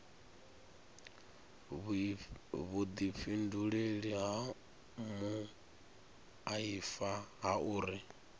vhuifhinduleli ha muaifa ha uri